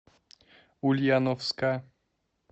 ульяновска